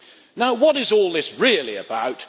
Now, what is all this really about?